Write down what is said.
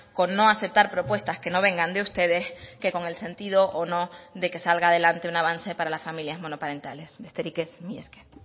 con no aceptar propuestas que no vengan de ustedes que con el sentido o no de que salga adelante un avance para las familias monoparentales besterik ez mila esker